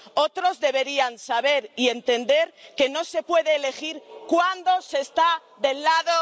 Otros deberían saber y entender que no se puede elegir cuándo se está del lado...